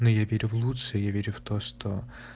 ну я верю в лучшее я верю в то что